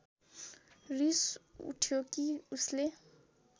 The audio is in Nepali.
रिस उठ्यो कि उसले